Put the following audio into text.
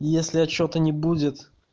если я что-то не будет